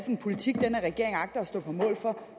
en politik den her regering agter at stå på mål for